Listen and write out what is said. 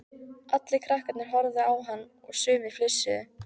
Allir krakkarnir horfðu á hann og sumir flissuðu.